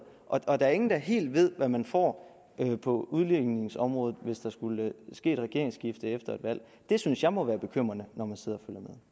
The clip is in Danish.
og der er ingen der helt ved hvad man får på udligningsområdet hvis der skulle ske et regeringsskifte efter et valg det synes jeg må være bekymrende når man sidder